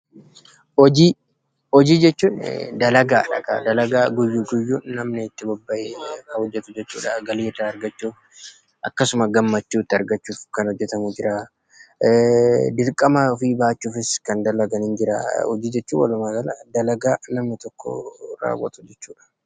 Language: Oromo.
Hojii: Hojii jechuun dakagaadha. Dalagaa namni guyyu guyyuun itti bobba'ee hojjetu jechuudha. Galii irraa argachuuf akkasuma gammachuu itti argachuuf kan hojjetamu jira. Dirqama ofii bajachuufis kan hojjetan ni jira. Hojii jechuun walumaa gala dalagaa namni tokko hojjeyu jechuudha.